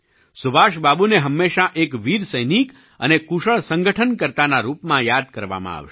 સુભાષબાબુને હંમેશાં એક વીર સૈનિક અને કુશળ સંગઠનકર્તાના રૂપમાં યાદ કરવામાં આવશે